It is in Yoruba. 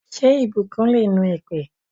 Ṣé ìbùkún le nu èpè?